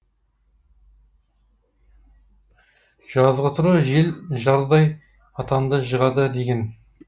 жазғытұрғы жел жардай атанды жығады деген